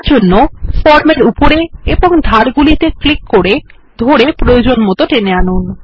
এটি করতে ফর্ম এর উপরে এবং ধার গুলিকে ক্লিক করে ধরে প্রয়োজন মত টেনে আনুন